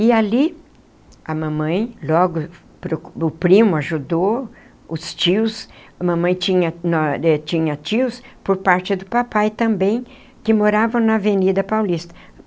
E ali, a mamãe, logo o primo ajudou, os tios, a mamãe tinha eh tinha tios por parte do papai também, que moravam na Avenida Paulista.